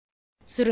சுருங்க சொல்ல